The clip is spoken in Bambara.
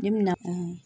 Ne mina